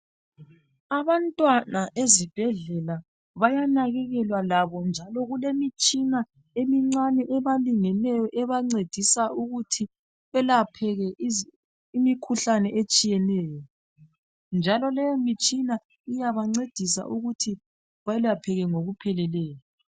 Abantwana ezibhedlela bayanakekelwa labo njalo kulemitshina emincane ebalingeneyo ebancedisa ukuthi belaphele imikhuhlane etshiyeneyo njalo leyo mitshina iyabancedisa ukuthi belapheke ngokupheleleyo